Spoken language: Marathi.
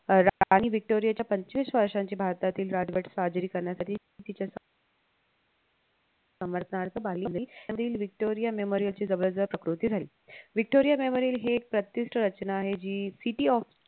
अह राणी व्हिक्टोरियाच्या पंचवीस वर्षाच्या भारतातील राजवट साजरी करण्यासाठी तिचे समर्तनार्थ तीळ व्हिक्टोरिया memorial ची जवळजवळ प्रकृती राहील व्हिक्टोरिया memorial हे एक रचना आहे जी city of